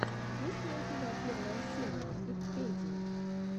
есть ли у тебя первая серия итпедии